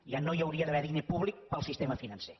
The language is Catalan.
ja no hi hauria d’haver diner públic per al sistema financer